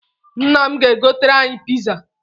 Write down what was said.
Nna m ga-egoter anyị̣ piza